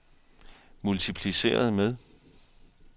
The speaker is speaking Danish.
multipliceret med